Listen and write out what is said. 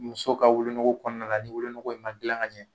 Muso ka wolonugu kɔnɔna la ni wolonugu in ma dilan ka ɲɛ